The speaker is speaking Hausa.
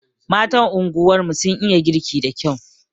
Matan zuri'ar mu sun iya girki da kyau.